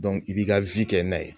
i b'i ka kɛ n'a ye